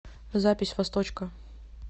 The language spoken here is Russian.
запись восточка